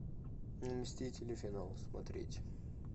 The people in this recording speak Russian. мстители финал смотреть